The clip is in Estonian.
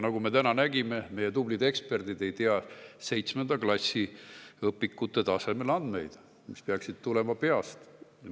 Nagu me täna nägime, meie tublid eksperdid ei tea VII klassi õpikute tasemel andmeid, mis peaksid tulema peast.